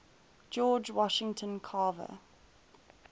george washington carver